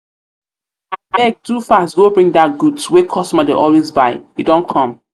fast go bring dat goods wey customer dey always buy e don dey come.